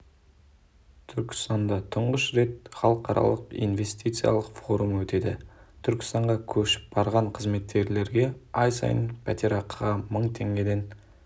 түркістанда тұңғыш рет халықаралық инвестициялық форум өтеді түркістанға көшіп барған қызметкерлерге ай сайын пәтерақыға мың теңгеден